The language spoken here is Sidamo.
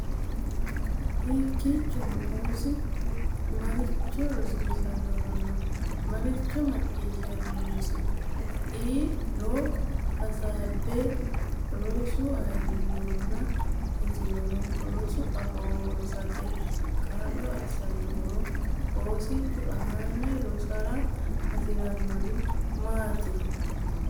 Hakkiinnino, oosichu maricho rosinoronna marichi macciishshaminosi(e)ro hasaabbe: Rosu ayirrinoronna shotinoro Rosu afoo rosate kaa’lo assannohoro Oosichu aane rosara hasi’rannori maatiro.